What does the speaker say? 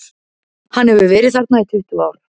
Hann hefur verið þarna í tuttugu ár.